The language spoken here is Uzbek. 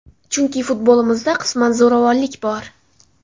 Chunki futbolimizda qisman zo‘ravonlik bor.